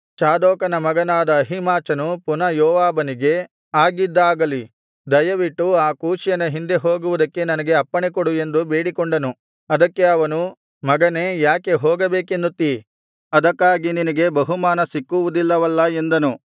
ಚಾದೋಕನ ಮಗನಾದ ಅಹೀಮಾಚನು ಪುನಃ ಯೋವಾಬನಿಗೆ ಆಗಿದ್ದಾಗಲಿ ದಯವಿಟ್ಟು ಆ ಕೂಷ್ಯನ ಹಿಂದೆ ಹೋಗುವುದಕ್ಕೆ ನನಗೆ ಅಪ್ಪಣೆ ಕೊಡು ಎಂದು ಬೇಡಿಕೊಂಡನು ಅದಕ್ಕೆ ಅವನು ಮಗನೇ ಯಾಕೆ ಹೋಗಬೇಕೆನ್ನುತ್ತೀ ಅದಕ್ಕಾಗಿ ನಿನಗೆ ಬಹುಮಾನ ಸಿಕ್ಕುವುದಿಲ್ಲವಲ್ಲಾ ಎಂದನು